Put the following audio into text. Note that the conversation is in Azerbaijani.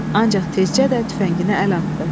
Ancaq tezcə də tüfənginə əl atdı.